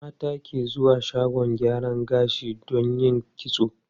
Mata ke zuwa shagon gyaran gashi don yin kitso.